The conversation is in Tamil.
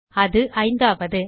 அது ஐந்தாவது